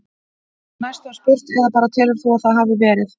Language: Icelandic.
Næst var spurt: Eða bara telur þú að það hafi ekki verið?